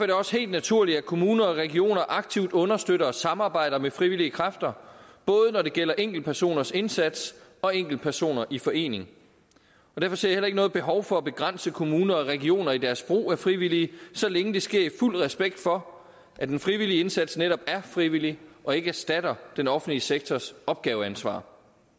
det også helt naturligt at kommuner og regioner aktivt understøtter og samarbejder med frivillige kræfter både når det gælder enkeltpersoners indsats og enkeltpersoner i forening derfor ser jeg heller ikke noget behov for at begrænse kommuner og regioner i deres brug af frivillige så længe det sker i fuld respekt for at den frivillige indsats netop er frivillig og ikke erstatter den offentlige sektors opgaveansvar